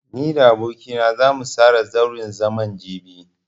Ni da aboki na zamu tsara zauren zaman jibi.